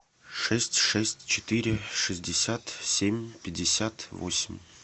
шесть шесть четыре шестьдесят семь пятьдесят восемь